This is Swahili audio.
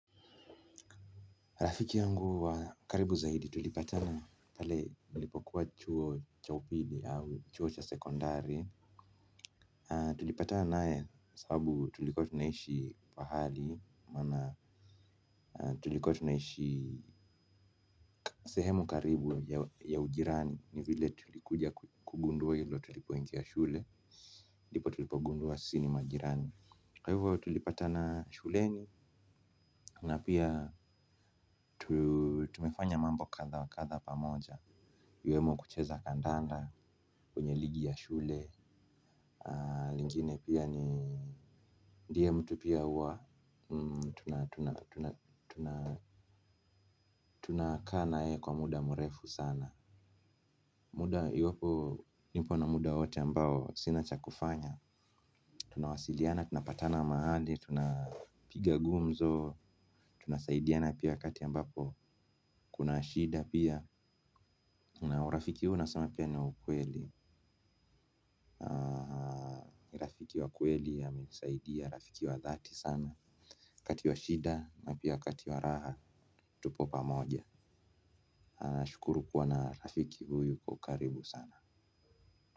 Rafiki yangu wa karibu zaidi tulipatana pale nilipokuwa chuo cha upili au chuo cha sekondari. Tulipatana naye sababu tulikuwa tunaishi pahali maana tulikuwa tunaishi sehemu karibu ya ujirani. Ni vile tulikuja kugundua hilo tulipoingia shule ndipo tulipogundua sisi ni majirani. Kwa hivyo tulipatana shuleni na pia tumefanya mambo kadha wa kadha pamoja sehemu karibu ya ujirani. Ni vile tulikuja kugundua hilo tulipoingia shule ndipo tulipogundua sisi ni majirani. Kwa hivyo tulipatana shuleni na pia pengine pia ni ndiye mtu pia huwa tuna tunakaa naye kwa muda mrefu sana. Muda iliyopo nipo na muda wote ambao sina cha kufanya. Tunawasiliana, tunapatana mahali, tunapiga gumzo tunasaidiana pia wakati ambapo kuna shida pia na urafiki huu nasema pia niwa ukweli rafiki wa kweli amenisaidia rafiki wa dhati sana wakati wa shida na pia wakati wa raha tupo pamoja nashukuru kuwa na rafiki huyu kwa ukaribu sana.